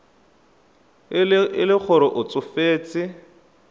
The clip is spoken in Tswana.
e le gore o tsofetse